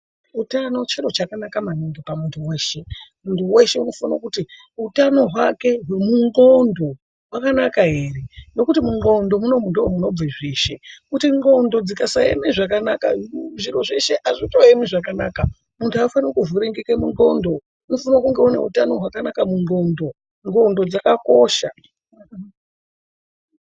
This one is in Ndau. Utano chiro chakanaka maningi pamuntu weshe. Muntu weshe unofane kuti hutano hwake hwemundxondo hwakanaka here, nekuti mundxondo munoumu ndimo munobva zveshe. Kuti ndxondo dzikasaema zvakanaka, zviro zveshe hazvichaemi zvakanaka, muntu haafaniri kuvhiringike mundxondo. Unosise kunge une hutano hwakanaka mundxondo. Ndxondo dzakakosha.